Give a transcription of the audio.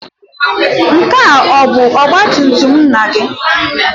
Nke a bụ ọgba tum tum nna gị?